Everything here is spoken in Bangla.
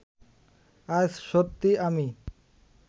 আজ সত্যিই আমি